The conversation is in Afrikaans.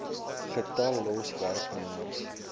getal los werknemers